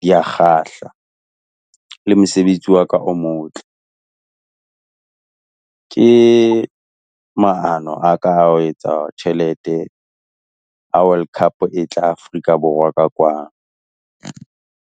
di a kgahla, le mosebetsi wa ka o motle. Ke maano a ka a ho etsa tjhelete, ha World Cup e tla Afrika Borwa ka kwano.